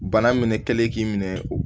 Bana minɛ kɛlen kɛlen k'i minɛ